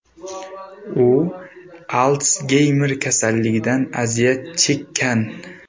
U Altsgeymer kasalligidan aziyat chekkan.